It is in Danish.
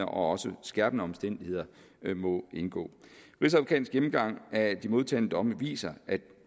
og også skærpende omstændigheder må indgå rigsadvokatens gennemgang af de modtagne domme viser at